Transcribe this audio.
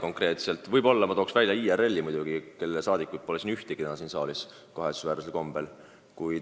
Toon võib-olla välja vaid IRL-i, kelle liikmeid pole täna siin saalis kahetsusväärsel kombel mitte ühtki.